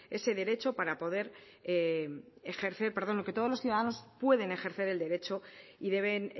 ese derecho para poder ejercer perdón que todos los ciudadanos pueden ejercer el derecho y deben